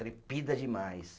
Trepida demais.